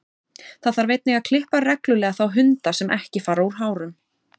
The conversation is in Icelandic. Það þarf einnig að klippa reglulega þá hunda sem ekki fara úr hárum.